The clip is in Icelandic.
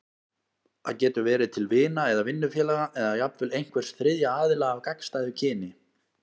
Það getur verið til vina eða vinnufélaga, eða jafnvel einhvers þriðja aðila af gagnstæðu kyni.